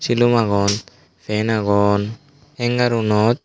silum agon pan agon hanger unot.